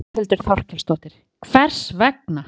Þórhildur Þorkelsdóttir: Hvers vegna?